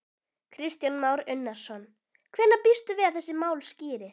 Kristján Már Unnarsson: Hvenær býstu við að þessi mál skýrist?